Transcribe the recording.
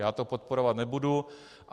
Já to podporovat nebudu.